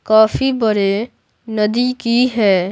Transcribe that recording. काफी बरे नदी की है।